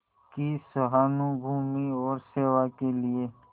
की सहानुभूति और सेवा के लिए